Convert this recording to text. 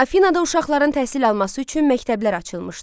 Afinada uşaqların təhsil alması üçün məktəblər açılmışdı.